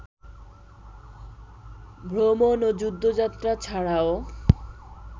ভ্রমণ ও যুদ্ধযাত্রা ছাড়াও